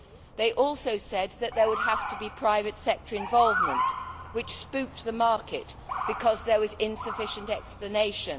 They also said that there would have to be private sector involvement, which spooked the market because there was insufficient explanation.